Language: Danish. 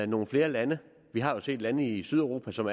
nogle flere lande vi har jo set lande i sydeuropa som